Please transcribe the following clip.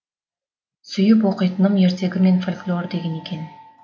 сүйіп оқитыным ертегі мен фольклор деген екен